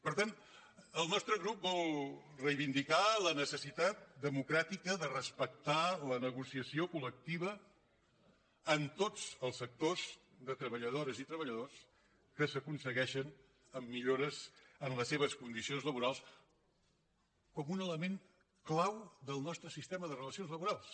per tant el nostre grup vol reivindicar la necessitat democràtica de respectar la negociació col·lectiva en tots els sectors de treballadores i treballadors que s’aconsegueixen amb millores en les seves condicions laborals com un element clau del nostre sistema de relacions laborals